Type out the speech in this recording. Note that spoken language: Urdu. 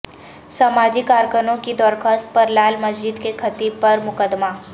سماجی کارکنوں کی درخواست پر لال مسجد کے خطیب پر مقدمہ